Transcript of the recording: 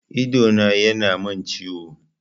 Idona ya na min ciwo